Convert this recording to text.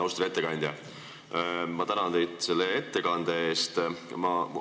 Austatud ettekandja, ma tänan teid selle ettekande eest!